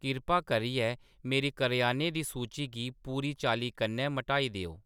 किरपा करियै मेरी करेआने दी सूची गी पूरी चाल्लीं कन्नै मटाई देओ